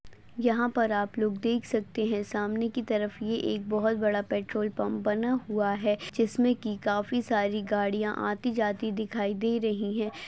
यहा पर आप लोग देख सकते है। सामने की तरफ ये एक बहुत बडा पेट्रोलपंप बना हुआ है। जिसमे की काफी सारी गड़िया आती जाती दिखाई दे रही है।